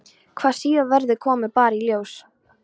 Hvað síðar verður kemur bara í ljós.